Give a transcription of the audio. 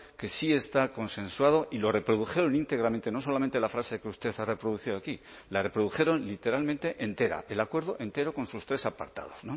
que sí está consensuado y lo reprodujeron íntegramente no solamente la frase que usted ha reproducido aquí la reprodujeron literalmente entera el acuerdo entero con sus tres apartados